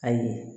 Ayi